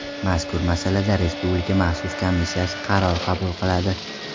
Mazkur masalada Respublika maxsus komissiyasi qaror qabul qiladi.